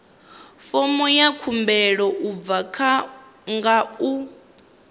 fomo ya khumbelo nga u